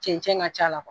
Cɛncɛn